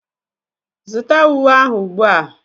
Zụta uwe ahụ ugbu a!